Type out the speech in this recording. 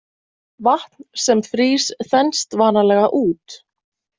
Vatn sem frýs þenst vanalega út.